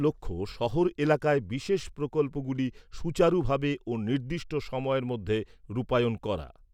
লক্ষ্য শহর এলাকায় বিশেষ প্রকল্পগুলি সুচারুভাবে ও নির্দিষ্ট সময়ের মধ্যে রূপায়ণ করা।